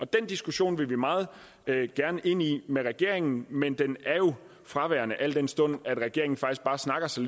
diskussion vil vi meget gerne ind i med regeringen men den er jo fraværende al den stund at regeringen faktisk bare snakker så